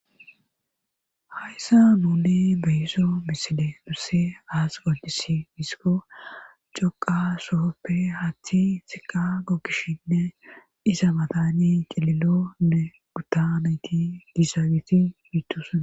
Hayssa muuni beyisso miside nusse aas gocisi misiko coqa sohoppe hathi siqa gokkishinne isa matani qililonne guttanayti gisaagiti miitusae